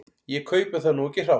Ég kaupi það nú ekki hrátt.